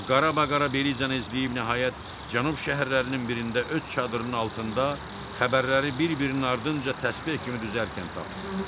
O qara-qara Belizanı izləyib nəhayət cənub şəhərlərinin birində öz çadırının altında xəbərləri bir-birinin ardınca təsbeh kimi düzərkən tapdı.